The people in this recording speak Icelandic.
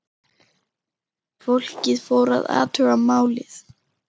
Fólkið fór að athuga málið.